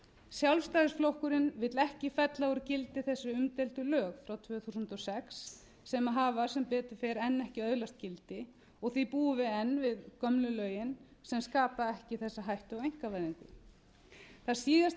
sjálfstæðisflokkurinn vill ekki fella úr gildi þessi umdeildu lög frá tvö þúsund og sex sem hafa sem betur fer enn ekki öðlast gildi því búum við enn við gömlu lögin sem skapa ekki þessa hættu á einkavæðingu það síðasta sem væri